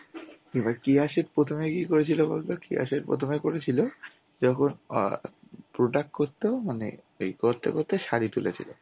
হ্যাঁ. এবার কেয়া শেঠ প্রথমে কি করেছিলে বলতো কেয়া শেঠ প্রথমে করেছিল যখন অ্যাঁ product করত মানে এই করতে করতে শাড়ি তুলেছিল.